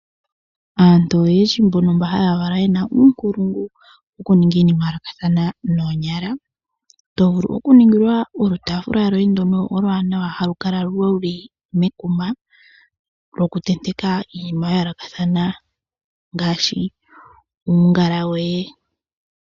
Aantu oyendji mbono mba ha ya kala ye na uunkulungu wokuninga iinima ya yoolokathana noonyala, to vulu okuningilwa olutaafula lwoye ndono oluwanawa halukala luli mekuma, lwokutenteka iinima ya yoolokathana ngaashi uungala woye.